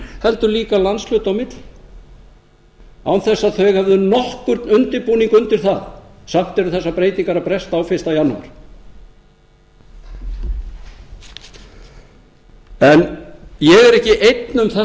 heldur líka landshluta á milli án þess að þeir hefðu nokkurn undirbúning undir það samt eru þessar breytingar að bresta á fyrsta janúar en ég er ekki einn um þessa